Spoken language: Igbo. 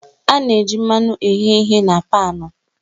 A na-eji mmanụ eghe ihe na paanụ